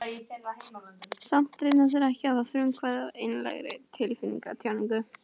Samt reyna þeir ekki að hafa frumkvæðið að einlægri tilfinningatjáningu.